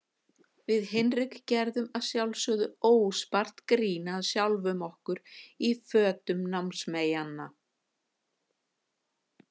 Við Hinrik gerðum að sjálfsögðu óspart grín að sjálfum okkur í fötum námsmeyjanna.